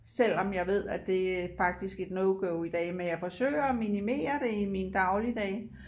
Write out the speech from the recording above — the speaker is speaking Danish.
Selvom jeg ved at det er faktisk et no go i dag men jeg forsøger at minimere det i min dagligdag